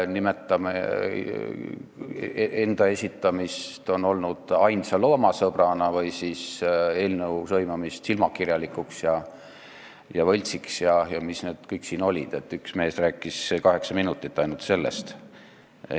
On olnud enda esitamist ainsa loomasõbrana või eelnõu sõimamist silmakirjalikuks ja võltsiks ja mis see kõik siin oli, üks mees rääkis kaheksa minutit ainult sellest.